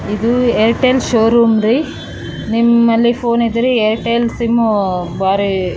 ಹಾಗು ಅಂಗಡಿಯ ಒಳಗೆ ಕೆಲವು ಮಂದಿ ನಿಂತಿದ್ದಾರೆ.